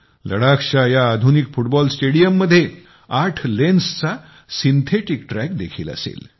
लडाखच्या या आधुनिक फुटबॉल स्टेडियम मध्ये आठ लेन्सचा सिंथेटीक ट्रॅक देखील असेल